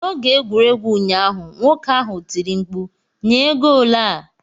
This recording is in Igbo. N'oge egwuregwu ụnyaahụ, nwoke ahụ tiri mkpu, "nyee goolu a!'